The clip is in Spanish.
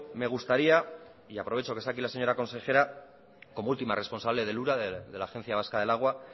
me gustaría y aprovecho que está aquí la señora consejera como última responsable del ura de la agencia vasca del agua